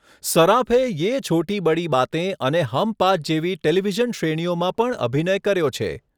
સરાફે 'યે છોટી બડી બાતેં' અને 'હમ પાંચ' જેવી ટેલિવિઝન શ્રેણીઓમાં પણ અભિનય કર્યો છે.